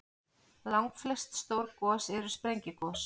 Langflest stór gos eru sprengigos.